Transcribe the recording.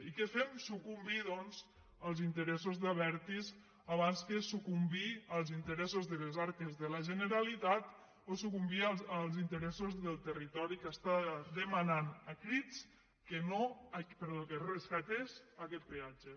i què fem su·cumbir doncs als interessos d’abertis abans que s ucumbir als interessos de les arques de la generalitat o sucumbir als interessos del territori que està dema·nant a crits que es rescatés aquest peatge